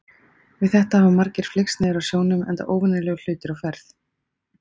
Við þetta hafa margir flykkst niður að sjónum enda óvenjulegur hlutur á ferð.